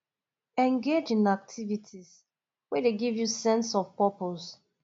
engage in activities wey dey give you sense of purpose